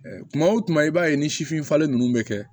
tuma o tuma i b'a ye ni sifin falen ninnu bɛ kɛ